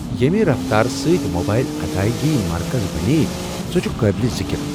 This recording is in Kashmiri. ییٚمہ رفتارٕ سۭتۍ موبایل ادایگی مرکزی بنییہ، سۄ چھےٚ قٲبلہ ذکر۔